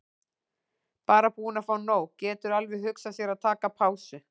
Bara búinn að fá nóg, getur alveg hugsað sér að taka pásu.